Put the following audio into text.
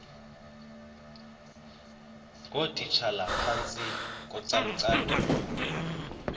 ngootitshala phantsi kocalucalulo